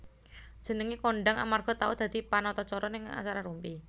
Jenengé kondhang amarga tau dadi panatacara ning acara Rumpi